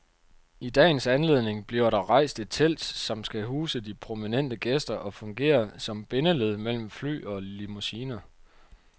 I dagens anledning bliver der rejst et telt, som skal huse de prominente gæster og fungere som bindeled mellem fly og limousiner.